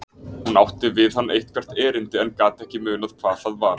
Hún átti við hann eitthvert erindi en gat ekki munað hvað það var.